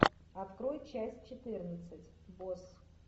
открой часть четырнадцать босс